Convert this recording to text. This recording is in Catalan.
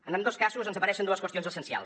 en ambdós casos ens apareixen dues qüestions essencials